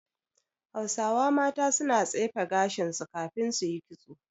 Hausawa mata suna tsefe gashin su kafin su yi kitso.